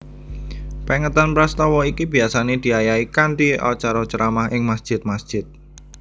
Pèngetan prastawa iki biasané diayahi kanthi acara ceramah ing masjid masjid